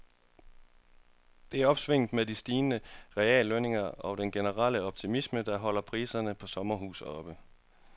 Det er opsvinget med de stigende reallønninger og den generelle optimisme, der holder priserne på sommerhuse oppe.